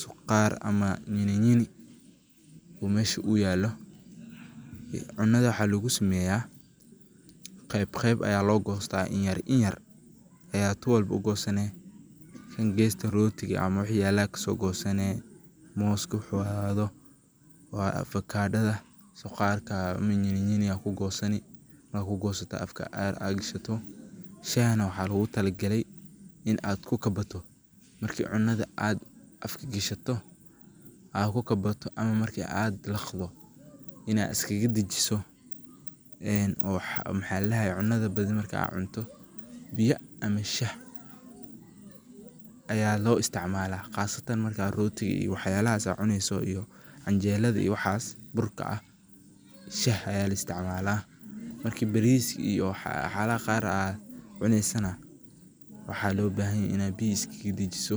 sukhaar ama nyirinyiri u meesha uu yaallo. Cunnada waxaa lugu sameeyaa, qeeb qeeb ayaa loo goystaa, inyer inyer ayaa ti walbo u goosani. Tan geesta rootiga ama waxii yaalla ka soo goosani, mooska wuxuu ahaado, waa avakaadhada, sukhaarka ama nyirinyiri yaa ku goosani. Markaa ad ku goosato afka aayer ad gashato. Shahana waxaa loogu tala galay in ad ku kabbato marki cunada ad afka gashato aa ku kabbato ama marki ad liqdo inaa is kaga dejiso. Cunada badi marka aa cunto, biya ama shah ayaa loo istacmaala khaasatan marka aa rooti wax yaalahas aa cunayso iyo anjeelada ii waxaas burka ah, shah ayaa laistacmaala. Markii bariis iyo waxyaalaha qaar aa cunaysana, waxaa loo bahanyahay inaay biya iskaga dejiso.